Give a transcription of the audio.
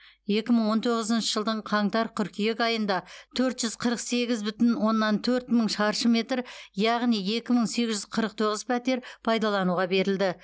екі мың он тоғызыншы жылдың қаңтар қыркүйек айында төрт жүз қырық сегіз бүтін оннан төрт мың шаршы метр яғни екі мың сегіз жүз қырық тоғыз пәтер пайдалануға берілді